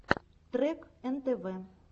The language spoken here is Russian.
трек нтв